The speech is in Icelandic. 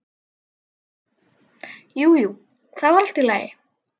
Jú, jú, það var allt í lagi.